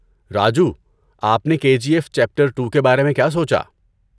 راجو، آپ نے K G F chapter two کے بارے میں کیا سوچا؟